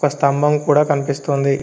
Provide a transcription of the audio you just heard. ఒక స్తంభం కూడా కనిపిస్తోంది.